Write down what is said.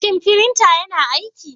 Shin firinta yana aiki?